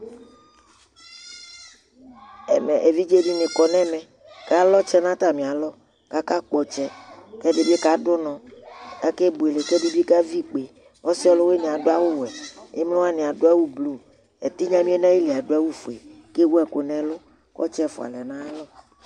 ɛmɛɛvidzɛ dinikɔnʋ ɛmɛ kʋ alʋ ɔtsɛ nʋ atami alɔ kʋ aka kpɔ ɔtsɛ kʋ ɛdini kadʋ ɔnɔ kʋ akɛ bʋɛlɛ kʋ ɛdibi kavi ikpè ,ɔsii ɔlʋwiniɛ adʋ awʋ wɛ, ɛmlɔ wani adʋ awʋ blue, ɛtinya miɔɛ nʋ ali adʋ awʋ ƒʋɛ kʋ adʋ awʋ fʋɛ kʋ ɔtsɛ ɛƒʋa lɛnʋ ayialɔ